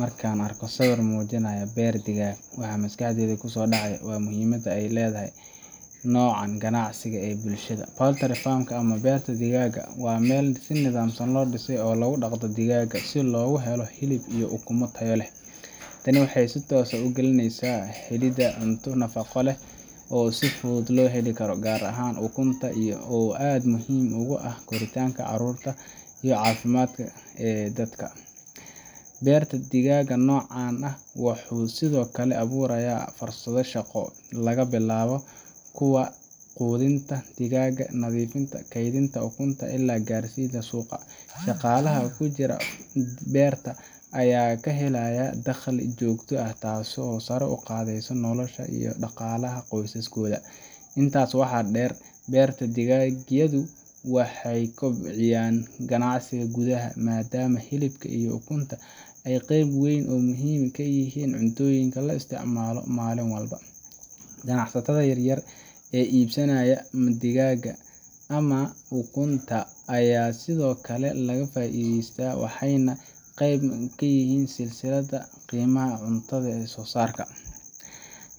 Marka aan eegno sawir muujinaya beer digaag, waxaa maskaxda ku soo dhacaya muhiimadda uu leeyahay noocan ganacsiga ee bulshada dhexdeeda. Poultry farm-ka, ama beerta digaagga, waa meel si nidaamsan loo dhisay oo lagu dhaqdo digaagga si loogu helo hilib iyo ukumo tayo leh. Tani waxay si toos ah ugaalinaysaa helidda cunto nafaqo leh oo si fudud loo heli karo, gaar ahaan ukunta oo aad muhiim ugu ah koritaanka carruurta iyo caafimaadka guud ee dadka. beerta digaaga noocan ah wuxuu sidoo kale abuurayaa fursado shaqo laga bilaabo kuwa quudinta digaagga, nadiifinta, kaydinta ukunta, ilaa gaarsiinta suuqa. Shaqaalaha ku jira farmka ayaa ka helaya dakhli joogto ah, taasoo sare u qaadaysa noloshooda iyo dhaqaalaha qoysaskooda. Intaa waxaa dheer, beerta digagyadu waxay kobciyaan ganacsiga gudaha, maadaama hilibka iyo ukunta ay qayb muhiim ah ka yihiin cuntooyinka la isticmaalo maalin walba. Ganacsatada yaryar ee iibinaya digaagga ama ukunta ayaa sidoo kale ka faa'iideysta, waxayna qayb ka noqdaan silsiladda qiimaha ee cunto-soo-saarka.